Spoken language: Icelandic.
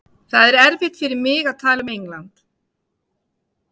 Það er erfitt fyrir mig að tala um England.